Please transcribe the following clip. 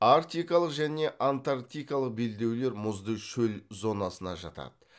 арктикалық және антарктикалық белдеулер мұзды шөл зонасына жатады